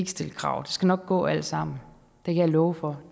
stille krav det skal nok gå alt sammen jeg kan love for